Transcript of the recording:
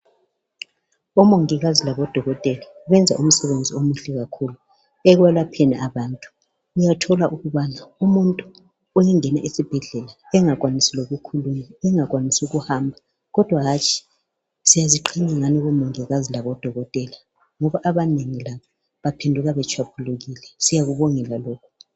Bomungikazi labodokotela, beyenza imisebenzi emihle kakhulu ekwelapheni abantu. Uyathola ukubana umuntu eyangena esibhedlela, engakwanisi ukukhuluma, engakwanisi ukuhamba. kodwa hatshi siyaziqenya ngani bomongikazi labodokothela, ngoba abanengi la baphenduka betshwambulukile siyakubongela lokhu.